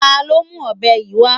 Ta ló mú ọ̀bẹ yìí wá?